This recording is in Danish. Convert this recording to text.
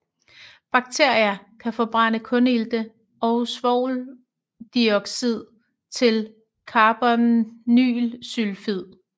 Bakterier kan forbrænde kulilte og svovldioxid til carbonylsulfid